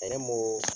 Ne m'o